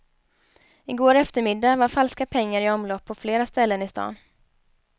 I går eftermiddag var falska pengar i omlopp på flera ställen i stan.